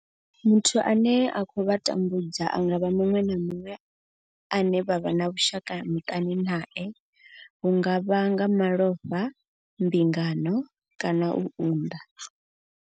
Muthu ane a khou vha tambudza a nga vha muṅwe na muṅwe ane vha vha na vhushaka muṱani nae hu nga vha nga malofha, mbingano kana u unḓa.